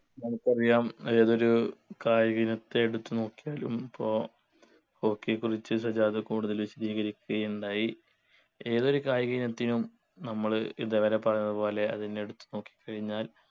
നമുക്കറിയാം ഏതൊരു കായിക ഇനത്തെ എടുത്തു നോക്കിയാലും പ്പോ hockey യെക്കുറിച്ച് സജാദ് കൂടുതൽ വിശദീകരിക്കുകയുണ്ടായി ഏതൊരു കായിക ഇനത്തിനും നമ്മൾ ഇതേവരെ പറഞ്ഞതുപോലെ അതിനെ എടുത്തു നോക്കിക്കഴിഞ്ഞാൽ